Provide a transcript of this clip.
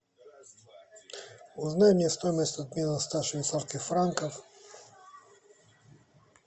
узнай мне стоимость обмена ста швейцарских франков